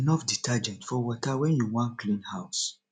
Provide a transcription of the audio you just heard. put enough detergent for water wen you wan clean house